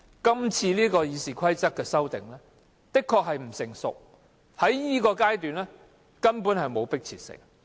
今次《議事規則》的修訂的確不成熟，在這個階段也完全沒有迫切性。